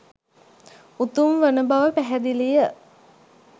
උතුම් වන බව පැහැදිලිය.